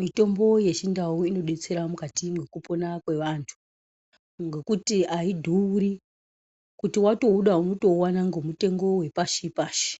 Mitombo yechindau inodetsera mukati mwekupona kwevantu ngekuti audhuri kuti watouda unouona ngemutengo wepashi pashi